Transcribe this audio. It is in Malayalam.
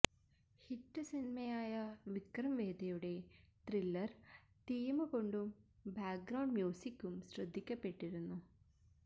ഹിറ്റ് സിനിമയായ വിക്രം വേദയുടെ ത്രില്ലര് തീം കൊണ്ടും ബാക്ക് ഗ്രൌണ്ട് മ്യൂസിക്കും ശ്രദ്ധിക്കപ്പെട്ടിരുന്നു